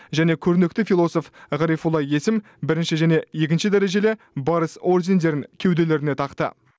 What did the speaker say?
және көрнекті философ ғарифолла есім бірінші және екінші дәрежелі барыс ордендерін кеуделеріне тақты